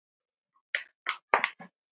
Jú, því ekki það?